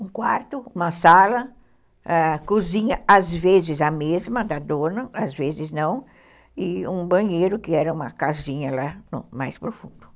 Um quarto, uma sala, cozinha, às vezes a mesma da dona, às vezes não, e um banheiro, que era uma casinha lá mais profunda.